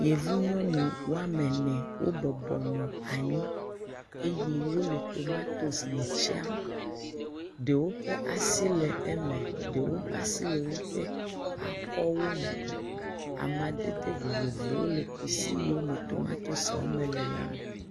Yevu nyɔnu woame ene wobɔbɔ anyi, eye le tomatos me tiam, ɖewo ƒe asi le eme, ɖewo ƒe asi le woƒe akɔwo me, amadede vovovowo le kusi yiwo me tomatosiwo le la me.